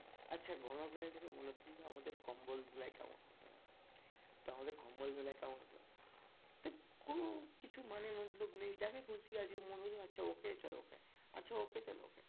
আচ্ছা গণধোলাই থেকে মনে করলে আমাদের কম্বল ধোলাই কেমন হতে পারে তো আমাদের কম্বল ধোলাই কেমন হতো? মানে কোনো কিছু মানে মতলব নেই যাকে খুশি আজকে মন হতো আচ্ছা ওকে চলো ওকে আচ্ছা ওকে চলো ওকে